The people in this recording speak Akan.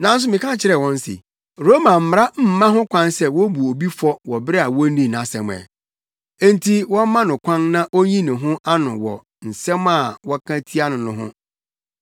“Nanso meka kyerɛɛ wɔn se, Roma mmara mma ho kwan sɛ wobu obi fɔ wɔ bere a wonnii nʼasɛm ɛ, enti wɔmma no kwan na onyi ne ho ano wɔ asɛm a wɔka tia no no ho.